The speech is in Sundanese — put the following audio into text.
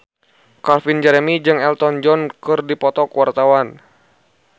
Calvin Jeremy jeung Elton John keur dipoto ku wartawan